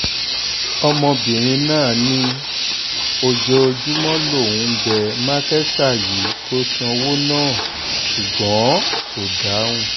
ọmọbìnrin náà ní ojoojúmọ́ lòún ń bẹ́ mákẹta yìí kó sanwó náà ṣùgbọ́n kò dáhùn